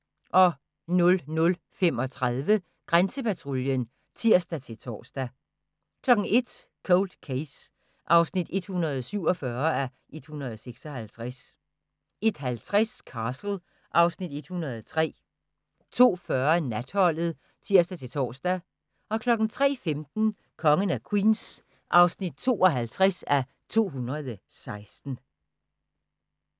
00:35: Grænsepatruljen (tir-tor) 01:00: Cold Case (147:156) 01:50: Castle (Afs. 103) 02:40: Natholdet (tir-tor) 03:15: Kongen af Queens (52:216)